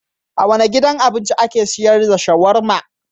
A wane gidan abincin ake sayar da shawarma?